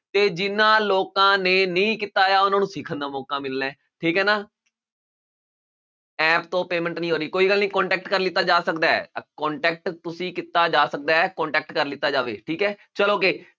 ਤੇ ਜਿਹਨਾਂ ਲੋਕਾਂ ਨੇ ਨਹੀਂ ਕੀਤਾ ਹੋਇਆ ਹੈ ਉਹਨਾਂ ਨੂੰ ਸਿੱਖਣ ਦਾ ਮੌਕਾ ਮਿਲਣਾ ਹੈ ਠੀਕ ਹੈ ਨਾ app ਤੋਂ payment ਨੀ ਹੋ ਰਹੀ ਕੋਈ ਗੱਲ ਨੀ contact ਕਰ ਲਿੱਤਾ ਜਾ ਸਕਦਾ ਹੈ contact ਤੁਸੀਂ ਕੀਤਾ ਜਾ ਸਕਦਾ ਹੈ contact ਕਰ ਲਿੱਤਾ ਜਾਵੇ ਠੀਕ ਹੈ ਚਲੋ ਅੱਗੇ,